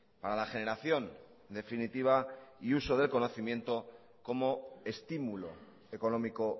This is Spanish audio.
para la generación definitiva y uso del conocimiento como estímulo económico